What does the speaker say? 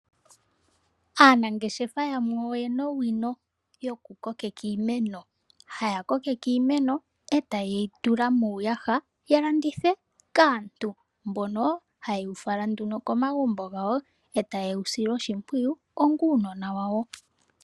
Aanangeshefa yamwe oye na owino yokukokeka iimeno, haya kokeke iimeno etaye yi tula muuyaha ya landithe kaantu mbono haye wu fala nduno komagumbo gawo etaye wu sile oshimpwiyu onga uunona wawo.